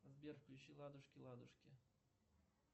сбер включи ладушки ладушки